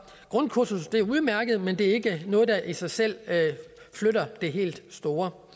grundkursus er udmærket men det er ikke noget der i sig selv flytter det helt store